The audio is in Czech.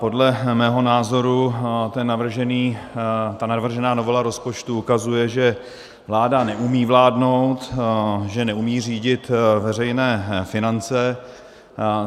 Podle mého názoru ta navržená novela rozpočtu ukazuje, že vláda neumí vládnout, že neumí řídit veřejné finance.